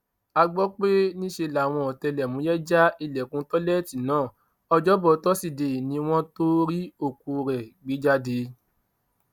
a gbọ pé níṣe làwọn ọtẹlẹmúyẹ já ilẹkùn tẹlẹẹtì náà ọjọbọ tọsídẹẹ ni wọn tóó rí òkú rẹ gbé jáde